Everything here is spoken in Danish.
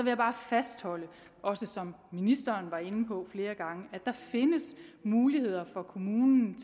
jeg bare fastholde som ministeren også var inde på flere gange at der findes muligheder for kommunerne